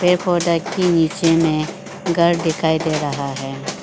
के नीचे में घर दिखाई दे रहा है।